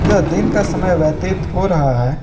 ये दिन का समय व्यतीत हो रहा है।